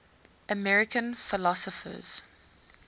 american philosophers